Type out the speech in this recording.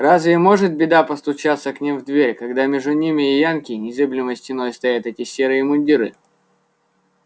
разве может беда постучаться к ним в дверь когда между ними и янки незыблемой стеной стоят эти серые мундиры